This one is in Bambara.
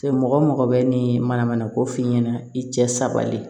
Mɔgɔ mɔgɔ bɛ ni mana mana ko f'i ɲɛna i cɛ sabali